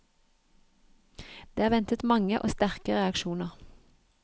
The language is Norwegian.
Det er ventet mange og sterke reaksjoner.